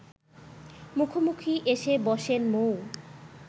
মুখোমুখি এসে বসেন মৌ